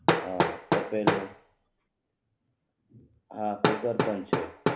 હા કુકર પણ છે હા તપેલું